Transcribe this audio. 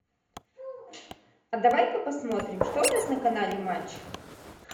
а давай ка посмотрим что у нас на канале матч